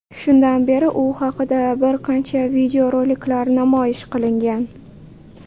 Shundan beri u haqida bir qancha videoroliklar namoyish qilingan.